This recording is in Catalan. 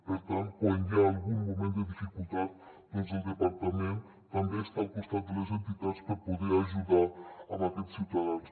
per tant quan hi ha algun moment de dificultat doncs el departament també està al costat de les entitats per poder ajudar aquests ciutadans